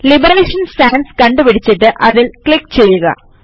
liberation sans കണ്ടുപിടിച്ചിട്ട് അതിൽ click ചെയ്യുക